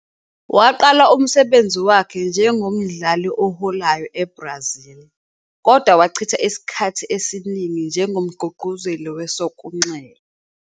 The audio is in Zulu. Waqala umsebenzi wakhe njengomdlali oholayo eBrazil, kodwa wachitha isikhathi esiningi njengomgqugquzeli wesokunxele.